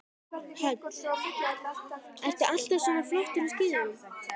Hödd: Ertu alltaf svona flottur á skíðum?